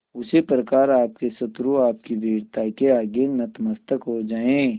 उसी प्रकार आपके शत्रु आपकी वीरता के आगे नतमस्तक हो जाएं